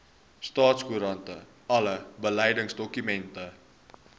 staatskoerant alle beleidsdokumente